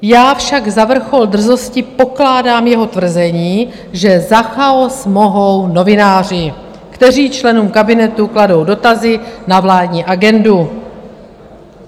Já však za vrchol drzosti pokládám jeho tvrzení, že za chaos mohou novináři, kteří členům kabinetu kladou dotazy na vládní agendu.